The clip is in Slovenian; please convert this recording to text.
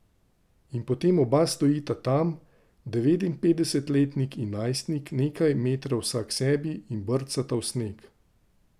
In potem oba stojita tam, devetinpetdesetletnik in najstnik, nekaj metrov vsaksebi, in brcata v sneg.